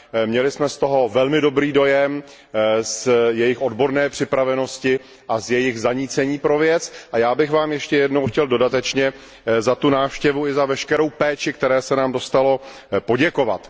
Měli jsme z toho velmi dobrý dojem, z jejich odborné připravenosti a z jejich zanícení pro věc a já bych vám ještě jednou chtěl dodatečně za tu návštěvu i za veškerou péči, které se nám dostalo, poděkovat.